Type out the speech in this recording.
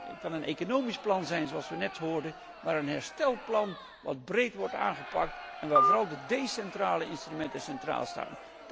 Het kan een economisch plan zijn, zoals we net hoorden, maar wel een herstelplan dat breed wordt aangepakt en waar vooral de decentrale instrumenten centraal staan.